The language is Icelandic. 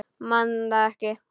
Man það ekki.